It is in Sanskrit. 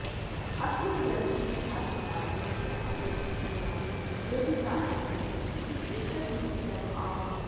अस्मिन् ग्रन्थे सुभाषितानि विषयानुगुणं योजितानि सन्ति इत्येतत् महत्त्वम् आवहति